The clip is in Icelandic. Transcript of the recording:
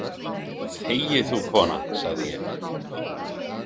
Þegi þú, kona, sagði ég.